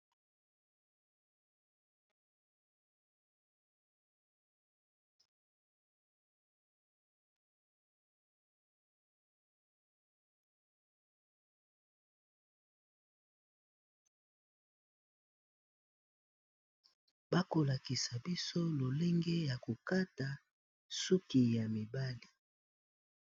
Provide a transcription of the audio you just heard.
bakolakisa biso lolenge ya kokata suki ya mibali